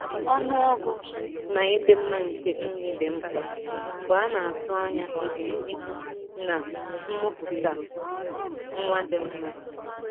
Ọnụọgụ na ịdị mma nke nri dị mkpa mgbe a na-atụ anya ebum ibu na mmụputa nwa dị mma